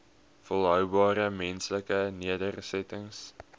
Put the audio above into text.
volhoubare menslike nedersettings